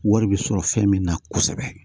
Wari bɛ sɔrɔ fɛn min na kosɛbɛ